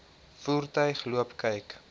voertuig loop kyk